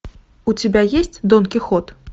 у тебя есть дон кихот